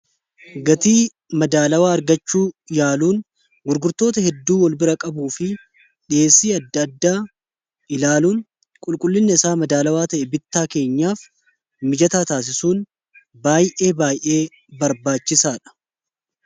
gatii madaalawaa argachuu ilaaluun gurgurtoota hedduu wal bira qabuu fi dhiheessii adda-addaa ilaaluun qulqullinna isaa madaalawaa ta'e bittaa keenyaaf mijataa taasisuun baay'ee baay'ee barbaachisaa dha.